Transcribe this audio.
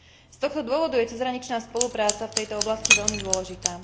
Z tohto dôvodu je cezhraničná spolupráca v tejto oblasti veľmi dôležitá.